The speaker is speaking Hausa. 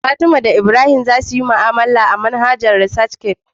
Fatima da Ibrahim za su yi mu'amala ta manhajar ResearchGate